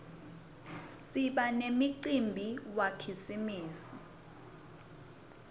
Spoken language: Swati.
siba nemcimbi wakhisimusi